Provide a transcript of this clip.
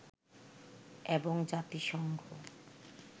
এবং জাতিসংঘ